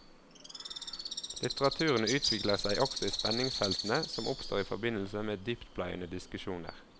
Litteraturen utvikler seg også i spenningsfeltene som oppstår i forbindelse med dyptpløyende diskusjoner.